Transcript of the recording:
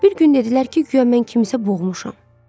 Bir gün dedilər ki, guya mən kimsə boğmuşam.